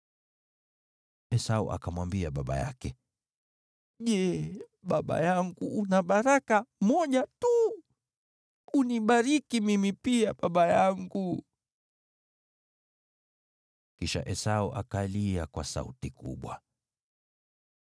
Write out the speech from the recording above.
Esau akamwambia baba yake, “Je, baba yangu una baraka moja tu? Unibariki mimi pia, baba yangu!” Kisha Esau akalia kwa sauti kubwa.